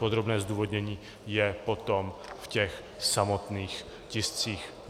Podrobné zdůvodnění je potom v těch samotných tiscích.